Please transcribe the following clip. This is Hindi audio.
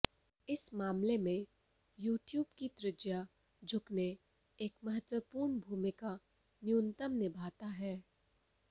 इस मामले में यह ट्यूब की त्रिज्या झुकने एक महत्वपूर्ण भूमिका न्यूनतम निभाता है